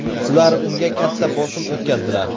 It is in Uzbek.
Ular unga katta bosim o‘tkazdilar.